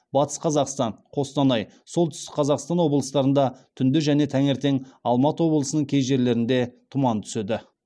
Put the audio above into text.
батыс қазақстан қостанай солтүстік қазақстан облыстарында түнде және таңертең алматы облысының кей жерлерінде тұман түседі